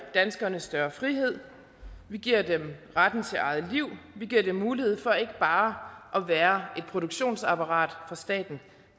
danskerne større frihed vi giver dem retten til eget liv vi giver dem mulighed for ikke bare at være et produktionsapparat for staten